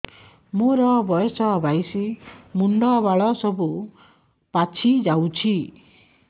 ମୋର ବୟସ ବାଇଶି ମୁଣ୍ଡ ବାଳ ସବୁ ପାଛି ଯାଉଛି